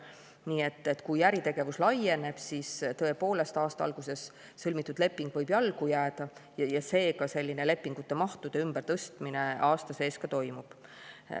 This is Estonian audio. Nii et kui äritegevus laieneb, siis tõepoolest, aasta alguses sõlmitud leping võib jalgu jääda, seega selline lepingumahtude ümbertõstmine aasta sees toimub.